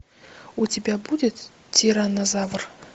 у тебя будет тираннозавр